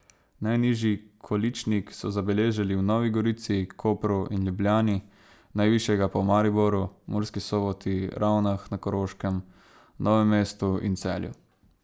Najnižji količnik so zabeležili v Novi gorici, Kopru in Ljubljani, najvišjega pa v Mariboru, Murski Soboti, Ravnah na Koroškem, Novem mestu in Celju.